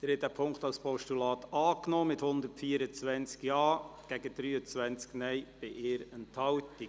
Sie haben den Punkt 3 als Postulat angenommen, mit 124 Ja- zu 23 Nein-Stimmen bei 1 Enthaltung.